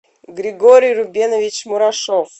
григорий рубенович мурашов